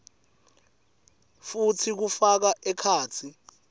futsi kufaka ekhatsi